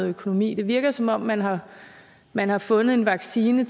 økonomi det virker som om man har man har fundet en vaccine